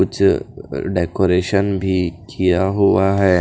कुछ डेकोरेशन भी किया हुआ है।